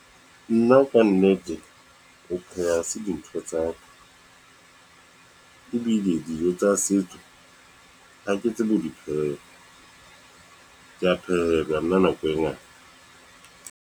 Nna ka nnete ho pheha se dintho tsa ka, ebile dijo tsa setso ha ke tsebe ho dipheha, ke ya phehelwa nna nako e ngata.